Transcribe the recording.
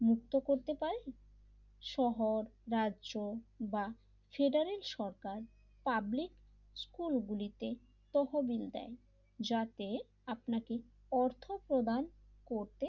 মুক্ত করতে পারে শহর রাজ্য বা ফেডারের সরকার পাবলিক স্কুলগুলিতে তহবিল দেয় যাতে আপনাকে অর্থ প্রদান করতে,